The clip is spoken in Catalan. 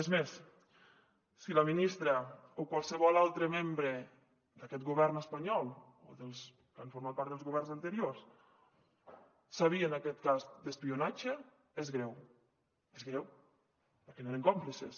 és més si la ministra o qualsevol altre membre d’aquest govern espanyol o dels que han format part dels governs anteriors sabien d’aquest cas d’espionatge és greu és greu perquè n’eren còmplices